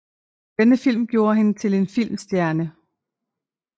Denne film gjorde hende til en filmstjerne